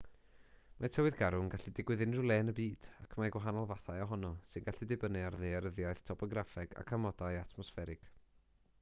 mae tywydd garw yn gallu digwydd unrhyw le yn y byd ac mae gwahanol fathau ohono sy'n gallu dibynnu ar ddaearyddiaeth topograffeg ac amodau atmosfferig